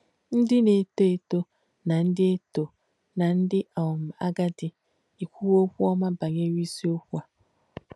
Ndí nà-ètò étò nà ndí étò nà ndí um àgàdì èkwùwō okwú ọ́mà bànyè̄re ísìokwú ndí à.